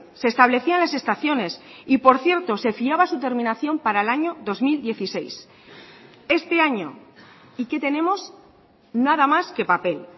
se establecían las estaciones y por cierto se fiaba su terminación para el año dos mil dieciséis este año y qué tenemos nada más que papel